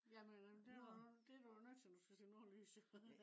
jamen det. det du jo nødt til når du skal se nordlys jo